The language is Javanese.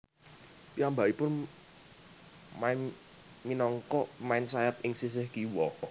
Piyambakipun main minangka pemain sayap ing sisih kiwa